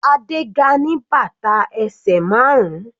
Adé ga ní bàtà ẹsẹ̀ márun.